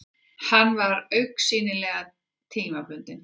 Hann var augsýnilega tímabundinn.